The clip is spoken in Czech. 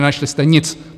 Nenašli jste nic!